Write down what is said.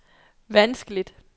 vanskeligt